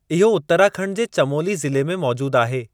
इहो उतराखंड जे चमोली ज़िले में मौजूद आहे।